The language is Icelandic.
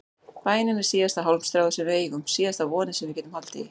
Bænin er síðasta hálmstráið sem við eigum, síðasta vonin sem við getum haldið í.